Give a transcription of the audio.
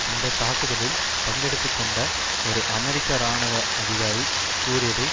அந்த தாக்குதலில் பங்கெடுத்து கொண்ட ஒரு அமெரிக்க இராணுவ அதிகாரி கூறியதை